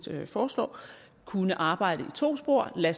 foreslår kunne arbejde i to spor lade